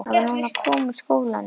Hann var að koma úr skólanum.